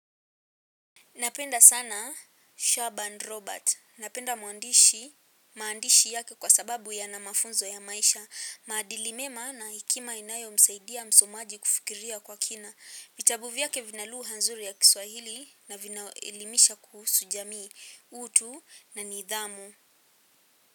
Napenda sana Shabba and Robert. Napenda maandishi yake kwa sababu yana mafunzo ya maisha. Maadili mema na hekima inayomsaidia msomaji kufikiria kwa kina. Vitabu vyake vina lugha nzuri ya kiswahili na vinaelimisha kuhusu jamii utu na nidhamu.